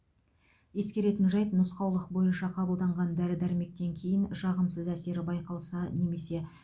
ескеретін жайт нұсқаулық бойынша қабылданған дәрі дәрмектен кейін жағымсыз әсері байқалса немесе